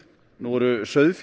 nú eru